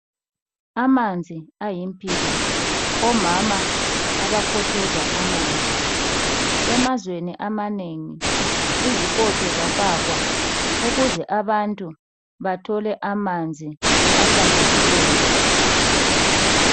Amanzi ayimpilo omama abakontshoza amanzi emazweni amanengi izikontsho zafakwa ukuze abantu bathole amanzi ahlanzekileyo.